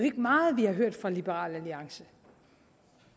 meget vi har hørt fra liberal alliance